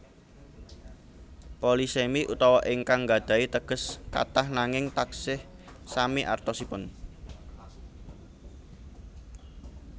Polisemi utawi ingkang nggadhahi teges kathah nanging taksih sami artosipun